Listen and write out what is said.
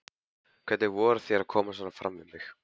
Hvernig vogarðu þér að koma svona fram við mig!